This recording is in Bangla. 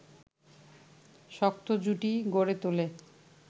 শক্ত জুটি গড়ে তোলেন